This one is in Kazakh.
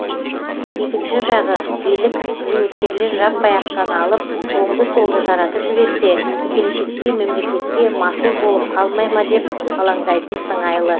екінші жағы билік зейнеткерлер жаппай ақшаны алып оңды солды жаратып жіберсе келешекте мемлекетке масыл болып қалмай ма деп алаңдайтын сыңайлы